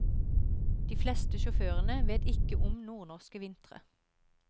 De fleste sjåførene vet ikke om nordnorske vintre.